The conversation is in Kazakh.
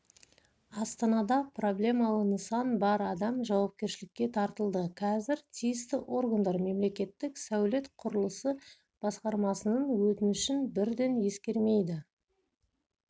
астанада проблемалы нысан бар адам жауапкершілікке тартылды қазір тиісті органдар мемлекеттік сәулет-құрылысы басқармасының өтінішін бірден ескермейді